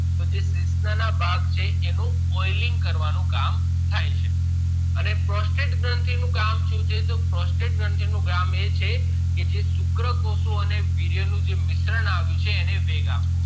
તો જે શિશ્ન ના ભાગ છે એનું oiling કરવાનું કામ થાય છે અને prostate ગ્રંથી નું કામ શું છે તોહ prostate ગ્રઆવ્ન્થિયું છે એને વેગ અપૂ નું કામ એ છે કે જે શુક્ર કોષો અને જે વીર્ય નું જે મિશ્રણ એને વેગ આપે